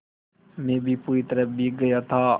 मैं भी पूरी तरह भीग गया था